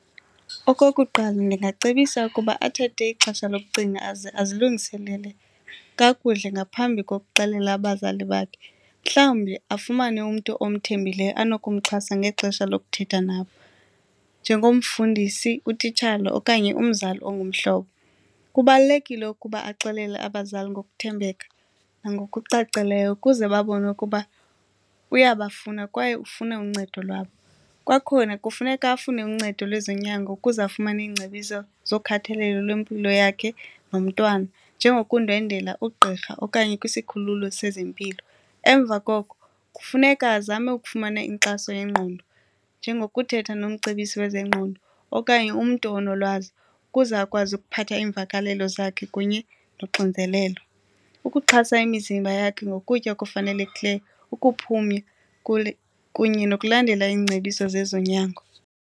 Okokuqala ndingacebisa ukuba athathe ixesha lokucinga aze azilungiselele kakuhle ngaphambi kokuxelela abazali bakhe, mhlawumbi afumane umntu omthembileyo anokumxhasa ngexesha lokuthetha nabo njengomfundisi, utitshala okanye umzali ongumhlobo. Kubalulekile ukuba axelele abazali ngokuthembeka nangokucacileyo ukuze babone ukuba uyabafuna kwaye ufuna uncedo lwabo. Kwakhona kufuneka afune uncedo lwezonyango ukuze afumane iingcebiso zokhathalelo lwempilo yakhe nomntwana njengokundwendwela ugqirha okanye kwisikhululo sezempilo, emva koko kufuneka azame ukufumana inkxaso yengqondo njengokuthetha nomcebisi lwezengqondo okanye umntu onolwazi ukuze akwazi ukuphatha iimvakalelo zakhe kunye noxinzelelo. Ukuxhasa imizimba yakhe ngoku ukutya okufanelekileyo ukuphumla kule kunye nokulandela iingcebiso sezonyango.